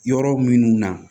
Yɔrɔ minnu na